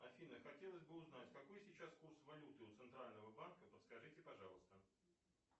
афина хотелось бы узнать какой сейчас курс валюты у центрального банка подскажите пожалуйста